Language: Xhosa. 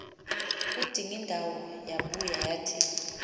udingindawo yabuya yathi